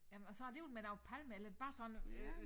Jamen og så alligevel med noget palme eller er det bare sådan øh